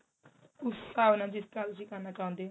ਕਵਨਾ ਜਿਸ ਤਰਾਂ ਤੁਸੀਂ ਕਰਨਾ ਚਾਉਂਦੇ ਹੋ